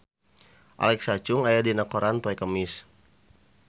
Alexa Chung aya dina koran poe Kemis